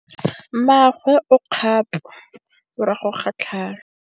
Mmagwe o kgapô morago ga tlhalô.